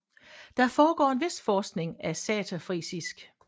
Der foregår en vis forskning af saterfrisisk